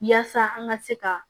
Yaasa an ka se ka